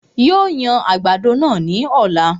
Yóò yan àgbàdo náà ní ọ̀la